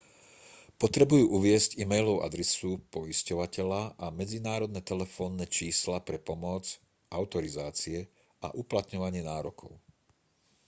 potrebujú uviesť e-mailovú adresu poisťovateľa a medzinárodné telefónne čísla pre pomoc/autorizácie a uplatňovanie nárokov